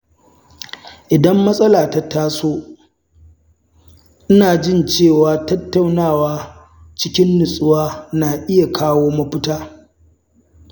Idan matsala ta taso, ina jin cewa tattaunawa cikin natsuwa na iya kawo mafita.